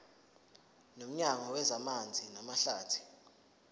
nomnyango wezamanzi namahlathi